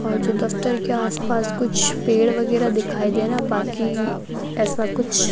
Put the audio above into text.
और जो दफ्तर के आसपास कुछ पेड़ वगैरह दिखाई दे रहा बाकी ऐसा कुछ --